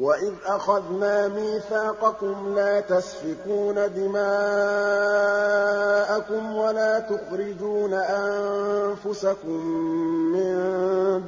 وَإِذْ أَخَذْنَا مِيثَاقَكُمْ لَا تَسْفِكُونَ دِمَاءَكُمْ وَلَا تُخْرِجُونَ أَنفُسَكُم مِّن